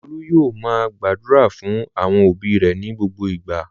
Olú yóò máa gbàdúrà fún àwọn òbí rẹ̀ ní gbogbo ìgbà.